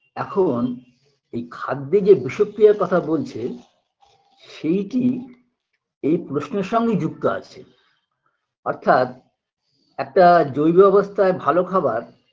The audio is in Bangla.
এখন এই খাদ্যে যে বিষক্রিয়ার কথা বলছেন সেইটি এই প্রশ্নের সঙ্গে যুক্ত আছে অর্থাৎ একটা জৈব অবস্থায় ভালো খাবার